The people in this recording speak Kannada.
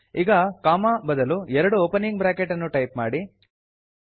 ಈಗ ಕೊಮ್ಮ ಬದಲು ಎರಡು ಒಪನಿಂಗ್ ಬ್ರಾಕೆಟ್ ಅನ್ನು ಟೈಪ್ ಮಾಡಿ